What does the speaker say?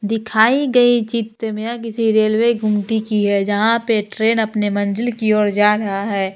दिखाई गई चित मे किसी रेलवे गुमटी की है जहां पे ट्रेन अपने मंजिल की और जा रहा है।